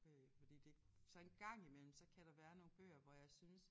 Øh fordi det så en gang imellem så kan der være nogle bøger hvor jeg synes